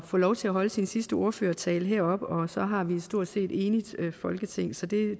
få lov til at holde sin sidste ordførertale heroppe og så har vi stort set et enigt folketing så det